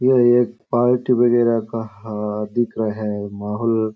ये एक पार्टी वगेरा का हाथ दिख रहा है माहौल --